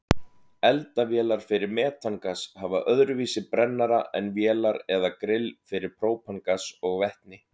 Eldavélar fyrir metangas hafa öðruvísi brennara en vélar eða grill fyrir própangas og vetni.